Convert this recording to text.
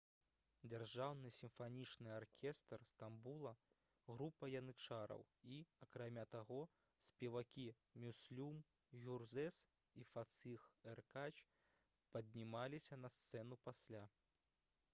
дзяржаўны сімфанічны аркестр стамбула група янычараў і акрамя таго спевакі мюслюм гюрзэс і фаціх эркач паднімаліся на сцэну пасля